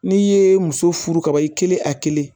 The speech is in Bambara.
N'i ye muso furu kaban i kelen a kelen